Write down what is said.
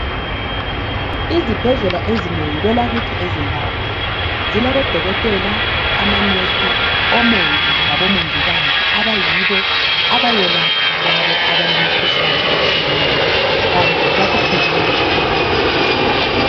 Izibhedlela ezinengi kwelakithi eZimbabwe zilabo odokotela, amanesi, omongi labo mongikazi abayibo abayelapha labo abale mikhuhlane etshiyeneyo, kanti bakufundele baqeqetsha.